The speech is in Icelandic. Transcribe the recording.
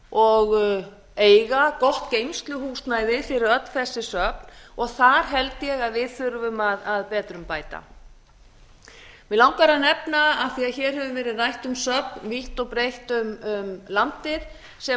og eiga gott geymsluhúsnæði fyrir öll þessi söfn og þar held ég að við þurfum að betrumbæta mig langar að nefna af því að hér hefur verið rætt um söfn vítt og breitt um landið sem